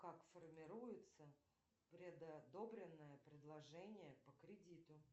как формируется предодобренное предложение по кредиту